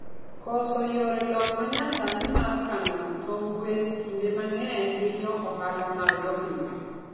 Koso yore lony manyasani mar kano tong gwen kinde mangeny hinyo ohala mag jopith